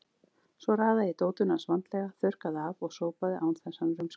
Svo raðaði ég dótinu hans vandlega, þurrkaði af og sópaði án þess hann rumskaði.